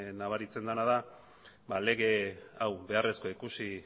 nabaritzen dena da ba lege hau beharrezkoa ikusi